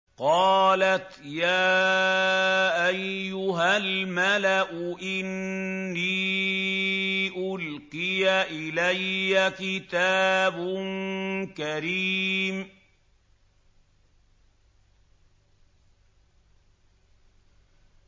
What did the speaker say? قَالَتْ يَا أَيُّهَا الْمَلَأُ إِنِّي أُلْقِيَ إِلَيَّ كِتَابٌ كَرِيمٌ